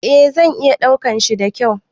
Eh zan iya daukan shi da kyau